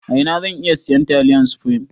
A ina zan iya siyan taliyan supreme?